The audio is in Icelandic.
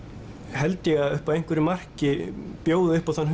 held ég upp að einhverju marki bjóði upp á þann